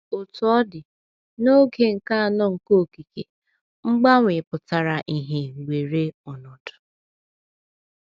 Otú ọ dị, n’oge nke anọ nke okike, mgbanwe pụtara ìhè weere ọnọdụ.